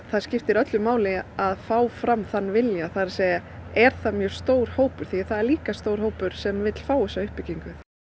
það skiptir öllu máli að fá fram þann vilja það er að er það mjög stór hópur því það er líka stór hópur sem vill fá þessa uppbyggingu